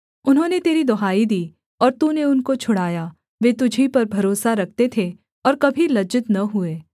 उन्होंने तेरी दुहाई दी और तूने उनको छुड़ाया वे तुझी पर भरोसा रखते थे और कभी लज्जित न हुए